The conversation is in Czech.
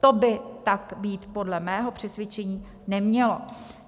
To by tak být podle mého přesvědčení nemělo.